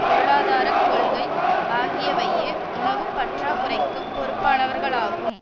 பொருளாதார கொள்கை ஆகியவையே உணவு பற்றாக்குறைக்கு பொறுப்பானவர்களாகும்